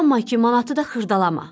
Amma ki, manatı da xırdalama.